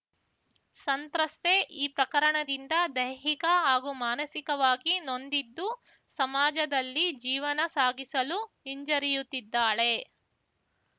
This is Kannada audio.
ಸಂತ್ರಸ್ತೆ ಈ ಪ್ರಕರಣದಿಂದ ದೈಹಿಕ ಹಾಗೂ ಮಾನಸಿಕವಾಗಿ ನೊಂದಿದ್ದು ಸಮಾಜದಲ್ಲಿ ಜೀವನ ಸಾಗಿಸಲು ಹಿಂಜರಿಯುತ್ತಿದ್ದಾಳೆ